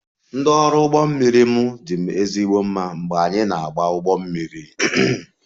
Ndị ọrụ ụgbọ mmiri m dị m ezigbo mma mgbe anyị na-agba ụgbọ mmiri